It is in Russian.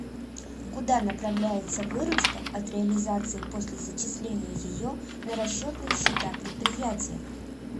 куда направляется выручка от реализации после зачисления ее на расчетные счета предприятия